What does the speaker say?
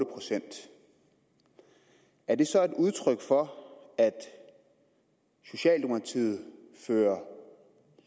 procent er det så udtryk for at socialdemokratiet fører